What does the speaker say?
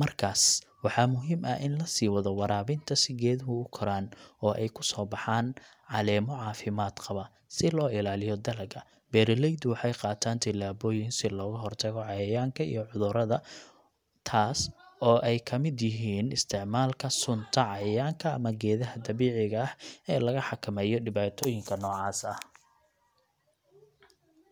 Markaas waxaa muhiim ah in la sii wado waraabinta si geeduhu u koraan oo ay ku soo baxaan caleemo caafimaad qaba. Si loo ilaaliyo dalagga, beeraleydu waxay qaataan talaabooyin si looga hortago cayayaanka iyo cudurrada, taas oo ay ka mid yihiin isticmaalka sunta cayayaanka ama geedaha dabiiciga ah ee laga xakameeyo dhibaatooyinka noocaas ah.